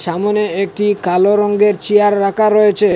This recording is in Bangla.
চামোনে একটি কালো রঙ্গের চেয়ার রাখা রয়েছে।